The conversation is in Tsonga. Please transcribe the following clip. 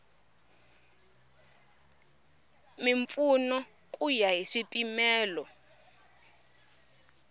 mimpfuno ku ya hi swipimelo